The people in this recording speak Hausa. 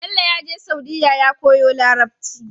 Bello yaje saudiya ya koyi larabci